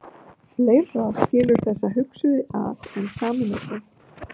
Fleira skilur þessa hugsuði að en sameinar þá.